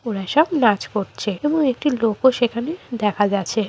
ওরা সব নাচ করছে এবং একটি লোকও সেখানে দেখা যাছে।